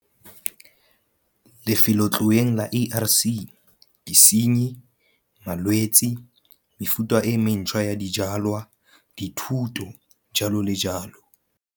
Lefeloletloeng la ARC. Disenyi, malwetse, mefuta e mentshwa ya dijwalwa, dithuto, jalo le jalo.